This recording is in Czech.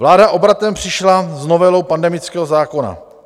Vláda obratem přišla s novelou pandemického zákona.